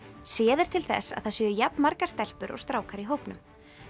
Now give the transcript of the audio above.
séð er til þess að það séu jafnmargar stelpur og strákar í hópnum